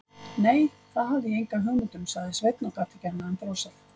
Nei, það hafði ég enga hugmynd um, sagði Sveinn og gat ekki annað en brosað.